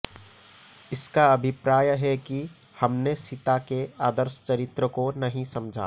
इसका अभिप्राय है कि हमने सीता के आदर्श चरित्र को नही समझा